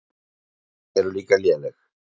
Sætin eru líka léleg.